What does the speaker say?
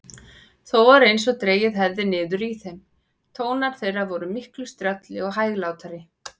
Þó var einsog dregið hefði niður í þeim: tónar þeirra vor miklu strjálli og hæglátari.